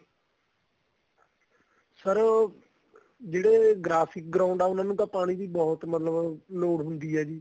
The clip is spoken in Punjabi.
sir ਜਿਹੜੇ graphic ground ਏ ਉਹਨਾ ਨੂੰ ਪਾਣੀ ਦੀ ਬਹੁਤ ਮਤਲਬ ਲੋੜ ਹੁੰਦੀ ਏ ਜੀ